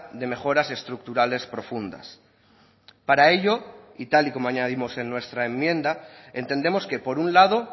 de mejoras estructurales profundas para ello y tal y como añadimos en nuestra enmienda entendemos que por un lado